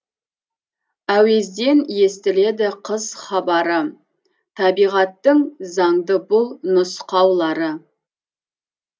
әуезден естіледі қыс хабары табиғаттың заңды бұл нұсқаулары